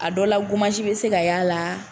A dɔ la bɛ se ka y'a la la